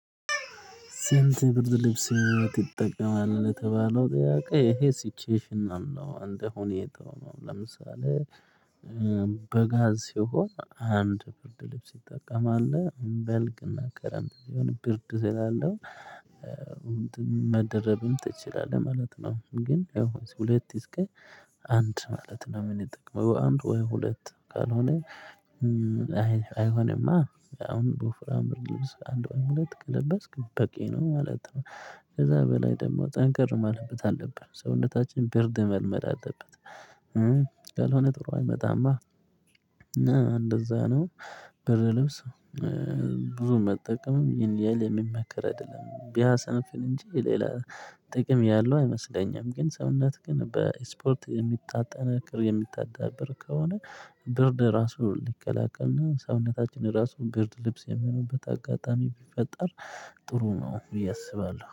ሴንት ብርድ ልብስ ይጠቀማል የተባለው ጥያቄ ይሄ ሲችሽና እንደ ሁኔታው ነው። ለምሳሌ በጋ ሲሆን አንድ ብርድ ልብስ ይጠቀማል በልግ እና ክረምት ሲሆነ ብርድ ስላለው እንትን መደረብም ትችላለህ ማለት ነው። ግን ያው ሁለት እስከ አንድ ማለት ነው የምንጠቅመው አንድ ወይ ሁለት ካልሆነ። አይሆንማ አሁን በወፍራም ልብስ አንድ ሁለት ከለበስክ በቂ ነው ማለት ነው። ከዛ በላይ ደግሞ ጠንክር ማለት አለበት ሰውነታችን ብርድ መልመድ አለበት ያልሆነ ጥሩ አይመጣም። እንደዛ ነው። ብርድ ልብስ ብዙ መጠቀምም ይሄን ያህል የሚመከር አይደለም ቢያሰንፍን እንጂ ሌላ ጥቅም ያለው አይመስለኝም። ግን ሰውነት ግን በስፖርት የሚጣጣን የምታዳብር ከሆነ ብርድ ራሱ ሊከላከልና ሰውነታችን ራሱ ብርድ ልብስ የሚሆንበት አጋጣሚ ቢፈጠር ጥሩ ነው ብዬ አስባለሁ